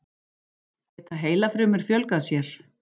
Geta heilafrumur fjölgað sér?